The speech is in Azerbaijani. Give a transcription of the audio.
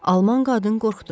Alman qadın qorxdu.